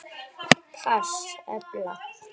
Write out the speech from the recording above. PASS efla